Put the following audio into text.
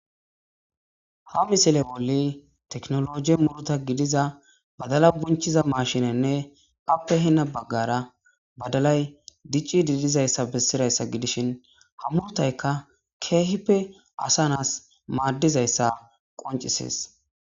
Ha misile boli teknologi muruta gidiza badala bunchiza mashinenne appe hina baggara badalay dicci diidizayssa bessirayssa gidishin ha murtayka keehippe asa naas maaddizayssa qoncisees